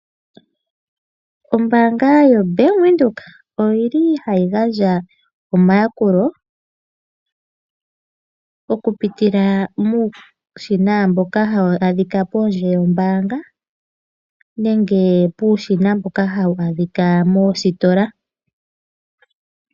Ombaanga yo Bank Widhoek, oyili hayi gandja omayakulo oku pitila muushina mboka hawu adhika pondje yombaanga, nenge uushina mboka hawu adhika moositola.